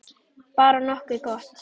Bara nokkuð gott.